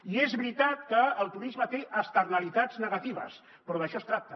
i és veritat que el turisme té externalitats negatives però d’això es tracta